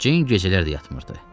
Ceyn gecələr də yatmırdı.